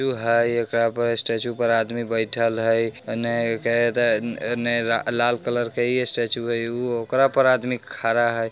तू हय एकरा पर स्टेच्यु पर आदमी बइठल हई ओने केर ऍन ऐ लाल कलर के ही ये स्टेच्यु है। उ ओकरा पर आदमी खड़ा हय।